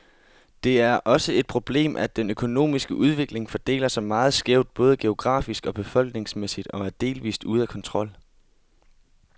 Det er også et problemet, at den økonomiske udvikling fordeler sig meget skævt, både geografisk og befolkningsmæssigt, og er delvist ude af kontrol.